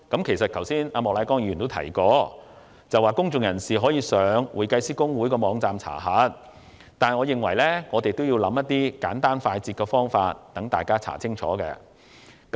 其實，莫乃光議員剛才也提及，公眾人士可以上公會網站查核，但我認為，應為市民提供更簡單快捷的方法。